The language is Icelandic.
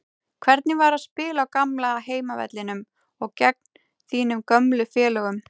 Hvernig var að spila á gamla heimavellinum og gegn þínum gömlu félögum?